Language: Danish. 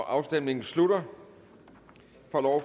afstemningen slutter